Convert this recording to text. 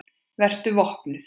Vertu vopnuð.